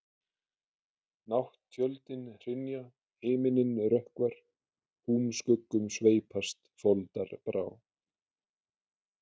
Nátt-tjöldin hrynja, himininn rökkvar, húmskuggum sveipast foldarbrá.